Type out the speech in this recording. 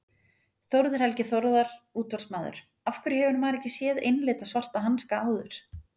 Þórður Helgi Þórðar útvarpsmaður Af hverju hefur maður ekki séð einlita svarta hanska áður?